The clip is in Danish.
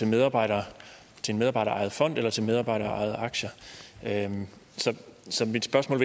medarbejderejet fond eller til medarbejderejede aktier så mit spørgsmål